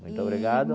Muito obrigado.